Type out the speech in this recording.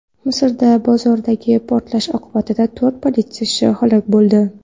Misrda bozordagi portlash oqibatida to‘rt politsiyachi halok bo‘ldi.